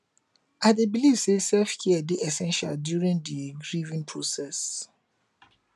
i dey believe say selfcare dey essential during di grieving process